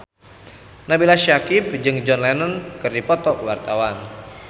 Nabila Syakieb jeung John Lennon keur dipoto ku wartawan